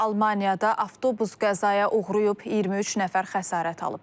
Almaniyada avtobus qəzaya uğrayıb, 23 nəfər xəsarət alıb.